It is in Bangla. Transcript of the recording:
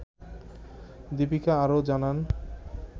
দিপিকা আরও জানান